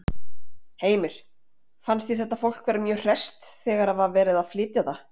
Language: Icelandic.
Heimir: Fannst þér þetta fólk vera mjög hresst þegar að var verið að flytja það?